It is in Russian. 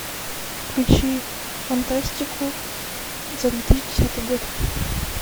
включи фантастику за две тысячи десятый год